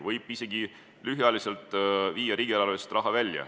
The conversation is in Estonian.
Võib isegi lühikeseks ajaks viia riigieelarvest raha välja.